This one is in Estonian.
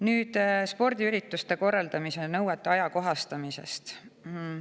Nüüd spordiürituste korraldamise nõuete ajakohastamisest.